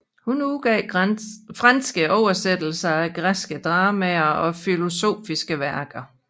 Hun udgav franske oversættelser af græske dramaer og filosofiske værker